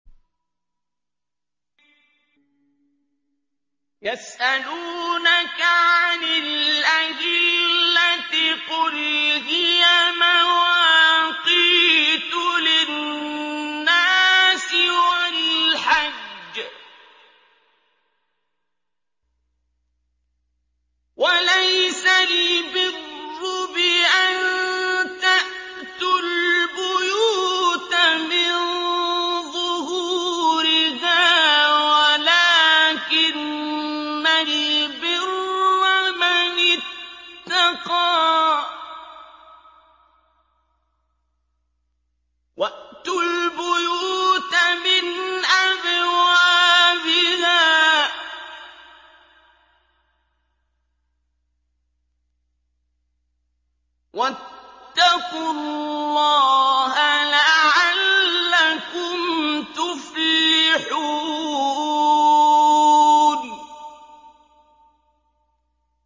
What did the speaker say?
۞ يَسْأَلُونَكَ عَنِ الْأَهِلَّةِ ۖ قُلْ هِيَ مَوَاقِيتُ لِلنَّاسِ وَالْحَجِّ ۗ وَلَيْسَ الْبِرُّ بِأَن تَأْتُوا الْبُيُوتَ مِن ظُهُورِهَا وَلَٰكِنَّ الْبِرَّ مَنِ اتَّقَىٰ ۗ وَأْتُوا الْبُيُوتَ مِنْ أَبْوَابِهَا ۚ وَاتَّقُوا اللَّهَ لَعَلَّكُمْ تُفْلِحُونَ